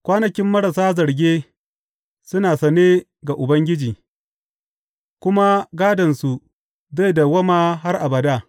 Kwanakin marasa zarge suna sane ga Ubangiji, kuma gādonsu zai dawwama har abada.